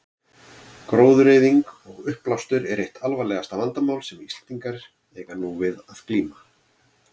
Gróðureyðing og uppblástur eru eitt alvarlegasta vandamál sem Íslendingar eiga nú við að glíma.